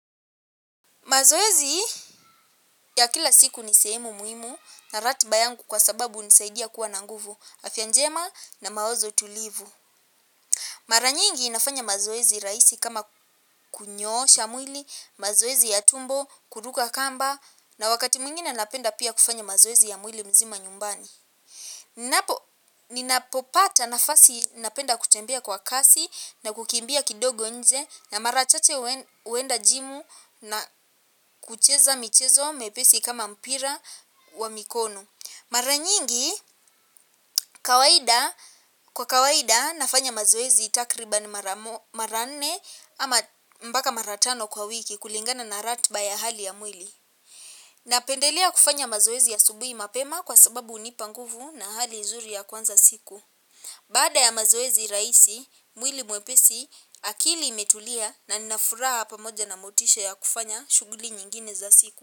Mazoezi ya kila siku ni sehemu muhimu na ratiba yangu kwa sababu hunisaidia kuwa na nguvu, afya njema na mawazo tulivu. Mara nyingi nafanya mazoezi rahisi kama kunyoosha mwili, mazoezi ya tumbo, kuruka kamba na wakati mwingina napenda pia kufanya mazoezi ya mwili mzima nyumbani. Ninapopata nafasi napenda kutembea kwa kasi na kukimbia kidogo nje na mara chache huenda jimu na kucheza michezo mepesi kama mpira wa mikono. Mara nyingi kwa kawaida nafanya mazoezi takriban mara nne ama mpaka mara tano kwa wiki kulingana na ratba ya hali ya mwili. Napendelea kufanya mazoezi asubui mapema kwa sababu hunipa nguvu na hali nzuri ya kuanza siku. Baada ya mazoezi rahisi, mwili mwepesi, akili imetulia na ninafuraha pamoja na motisha ya kufanya shuguli nyingine za siku.